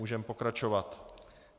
Můžeme pokračovat.